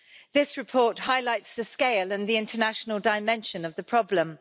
This report highlights the scale and the international dimension of the problem.